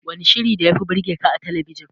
Wanne shirin da yafi burgeka a talabijin?